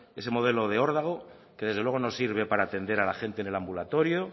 ese modelo de órdago que desde luego no sirve para atender a la gente en el ambulatorio